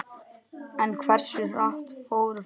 En hversu hratt fóru flóðin?